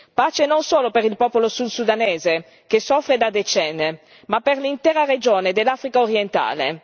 Pace non solo per il popolo sud sudanese, che soffre da decenni, ma per l'intera regione dell'Africa orientale.